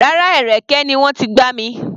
Rárá, ẹ̀rẹ̀kẹ́ ni wọ́n ti gbá mi.